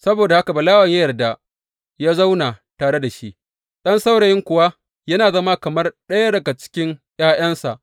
Saboda haka Balawen ya yarda ya zauna tare da shi, ɗan saurayin kuwa ya zama kamar ɗaya daga cikin ’ya’yansa.